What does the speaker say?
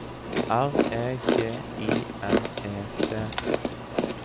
R E G I M E T